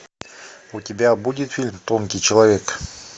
у тебя будет фильм тонкий человек